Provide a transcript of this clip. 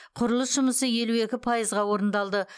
құрылыс жұмысы елу екі пайызға орындалды